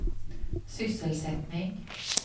sysselsättning